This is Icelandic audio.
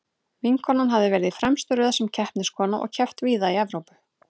Vinkonan hafði verið í fremstu röð sem keppniskona og keppt víða í Evrópu.